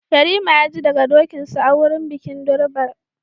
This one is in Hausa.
Yarima ya ji daga dokinsa a wurin bikin durbar